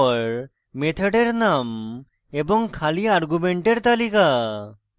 def keyword এর পর মেথডের name এবং খালি argument তালিকা